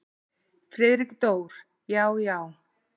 Friðrik Dór: Já. já.